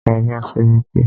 Lọ bá sẹ́ríkí!